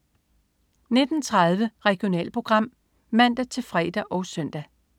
19.30 Regionalprogram (man-fre og søn)